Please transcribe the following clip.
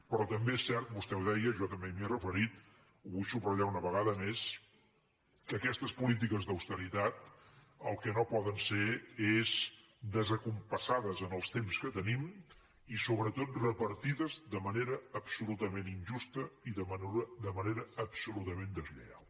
però també és cert vostè ho deia jo també m’hi he referit ho vull subratllar una vegada més que aquestes polítiques d’austeritat el que no poden ser és descompassades en els temps que tenim i sobretot repartides de manera absolutament injusta i de manera absolutament deslleial